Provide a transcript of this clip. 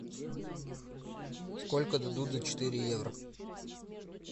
сколько дадут за четыре евро